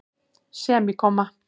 semíkomma